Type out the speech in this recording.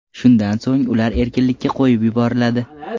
Shundan so‘ng ular erkinlikka qo‘yib yuboriladi.